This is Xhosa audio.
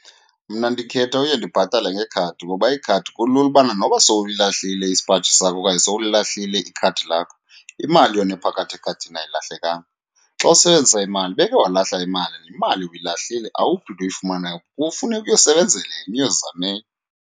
Mna ndikhetha uye ndibhatale ngekhadi ngoba ikhadi kulula ubana noba sowuyilahlile isipaji sakhe okanye sowulilahlile ikhadi lakho, imali yona ephakathi ekhadini ayilahlekanga. Xa usebenzisa imali, ubeke walahla imali nemali uyilahlile awuphinda uyifumane , kufuneka uyosebenzela enye, uyozama enye.